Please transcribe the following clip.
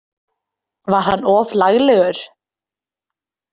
Var hann of laglegur?